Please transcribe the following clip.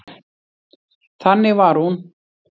Þannig var hún.